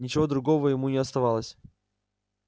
ничего другого ему не оставалось